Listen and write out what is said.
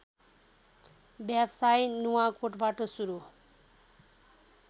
व्यवसाय नुवाकोटबाट सुरू